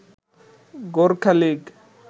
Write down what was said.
Gorkha league